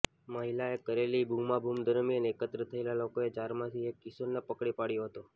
મહિલાએ કરેલી બૂમાબૂમ દરમિયાન એકત્ર થયેલા લોકોએ ચારમાંથી એક કિશોરને પકડી પાડયો હતો